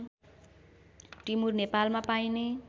टिमुर नेपालमा पाइने